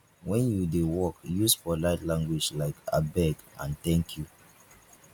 when you dey work use polite language like abeg and thank you